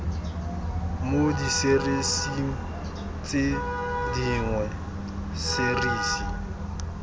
mo diserising tse dingwe serisi